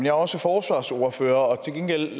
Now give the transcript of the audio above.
er også forsvarsordfører